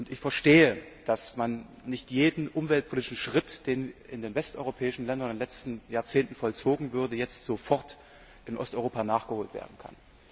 Ich verstehe, dass man nicht jeden umweltpolitischen Schritt, der in den westeuropäischen Ländern in den letzten Jahrzehnten vollzogen wurde, jetzt sofort in Osteuropa nachholen kann.